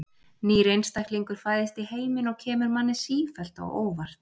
Nýr einstaklingur fæðist í heiminn og kemur manni sífellt á óvart.